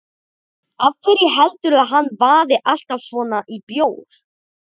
Af hverju heldurðu að hann vaði alltaf svona í bjór?